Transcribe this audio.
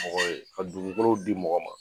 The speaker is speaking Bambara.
Mɔgɔ ye ka dugukolow di mɔgɔ ma.